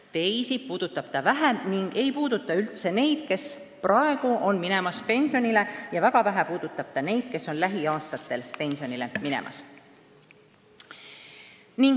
Teisi puudutab see vähem: uuendus ei puuduta üldse neid, kes praegu on pensionile minemas, ja väga vähe puudutab neid, kes jäävad pensionile lähiaastatel.